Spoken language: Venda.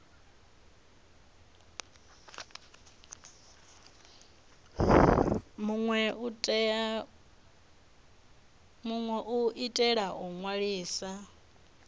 minwe u itela u ṅwalisa